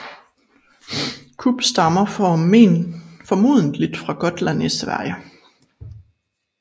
Kubb stammer formodentlig fra Gotland i Sverige